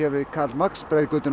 við Karl Marx